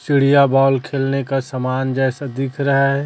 चिड़िया बॉल खेलने का समान जैसा दिख रहा है।